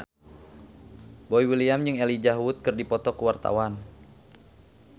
Boy William jeung Elijah Wood keur dipoto ku wartawan